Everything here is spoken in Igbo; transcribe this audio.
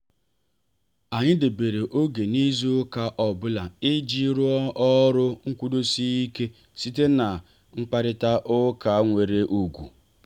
anyị debere oge n'izu ụka ọbụla iji rụọ ọrụ nkwudosi ike site na mkparita ụka nwere ugwu.